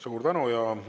Suur tänu!